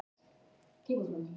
Ég þoli hann ekki.